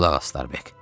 Qulaq as Starbek.